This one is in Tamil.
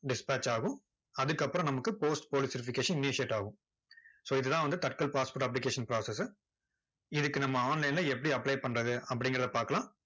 dispatch ஆகும். அதுக்கு அப்பறம் நமக்கு post police verfication initiate ஆகும். so இது தான் வந்து தட்கல் passport application process இதுக்கு நம்ம online ல எப்படி apply பண்ணுறது, அப்படிங்குறத பாக்கலாம்.